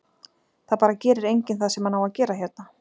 Það bara gerir enginn það sem hann á að gera hérna.